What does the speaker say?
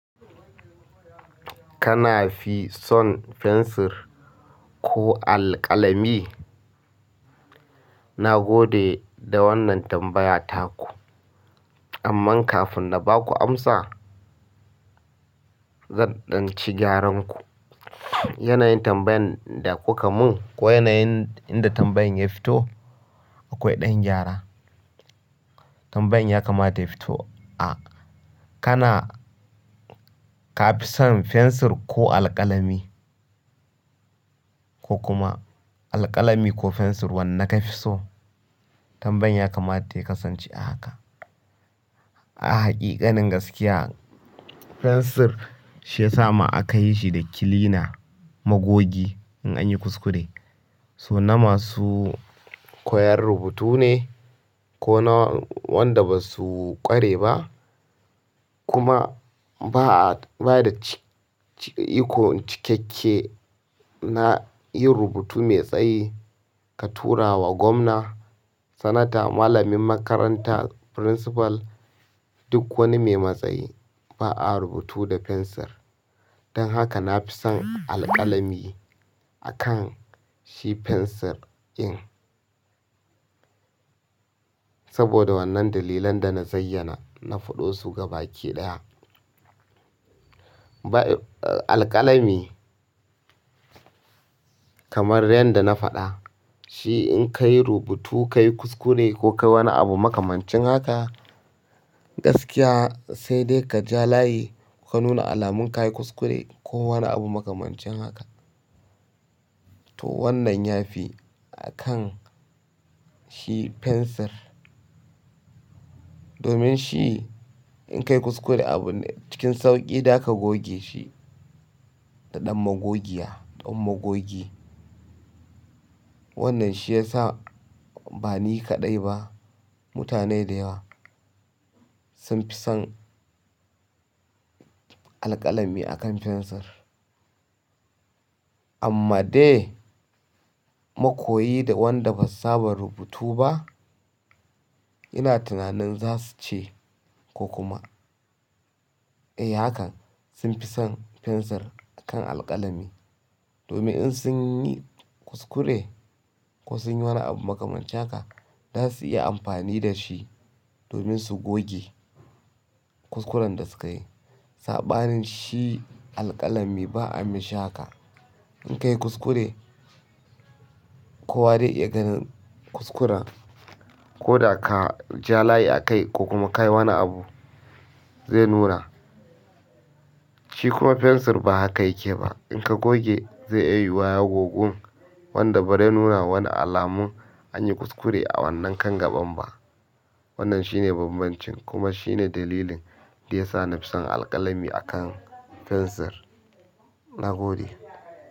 Kana fi son fensir ko alƙalami? Na gode da wannan tambaya taku. Amma kafin na ba ku amsa, zan ɗanci gyaran ku. Yanayin tambayan da kuka mun ko yanayin inda tambayan ya fito, akwai ɗan gyara. Tambayan ya kama ya fito, a, kana ka fi son fensir ko alƙalami? Ko kuma alƙalami ko fensir wanne ka fi so? Tambayan ya kamata ya kasance a haka. A hakikanin gaskiya, fensir shi ya sa ma aka yi shi da kilina, magogi in anyi kuskure. So na masu koyar rubutu ne ko na wanda ba su ƙware ba. Kuma ba a, ba da iko cikakke na yin rubutu mai tsayi ka tura wa gwamna, sanata, malamin makaranta, principal, duk wani mai matsayi. Ba a rubutu da fensir. Don haka na fi son alƙalami akan shi fensir in. Saboda wannan dalilan da na zayyana, na faɗo su gaba ki ɗaya. Bai, alƙalami kamar yadda na faɗa, shi in ka yi rubutu, ka yi kuskure ko ka yi wani abu makamancin haka, gaskiya sai dai ka ja layi ka nuna alamun ka yi kuskure ko wani abu makamancin haka. To wannan ya fi akan shi fensir. Domin shi in ka yi kuskure abu ne cikin sauƙi, za ka goge shi da ɗan magogiya, ɗan magogi. Wannan shi ya sa ba ni kaɗai ba, mutane da yawa sun fi son alƙalami akan fensir. Amma dai makoyi da wanda basu saba rubutu ba, ina tunanin za su ce ko kuma, eh hakan sun fi son fensir akan alƙalami. Domin in sun yi kuskure ko sun yi wani abu makamancin haka, za su iya amfani da shi domin su goge kuskuren da suka yi. Saɓanin shi alƙalami ba a mishi haƙa. In ka yi kuskure ko wa zai iya ganin kuskuren ko da ka ja layi a kai ko kuma ka yi wani abu, zai nuna. Shi kuma fensir ba haka yake ba. In ka goge zai iya yiwa ya gogun wanda ba zai nuna ma wani alamun an yi kuskure a wannan kan gaɓan ba. Wannan shine bambancin kuma shine dalilin da ya sa na fi son alƙalami akan fensir. Na gode.